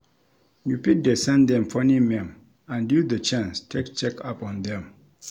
You fit dey send them funny meme and use the chance take check up on them